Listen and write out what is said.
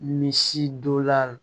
Misi don la